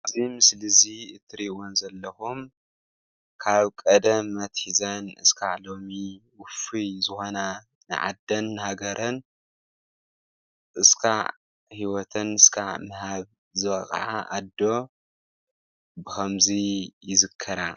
ኣብዚ ምስሊ እዚ እትሪእወን ዘለኩም ካብ ቀደም ኣትሒዘን እስክዓ ሎሚ ውፍይ ዝኮና ንዓደን ንሃገረን እስክዓ ሂወተን ዝሃባ ኣዶ ብከምዚ ይዝከራ።